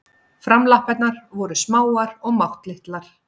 Framlappirnar voru smáar og máttlitlar.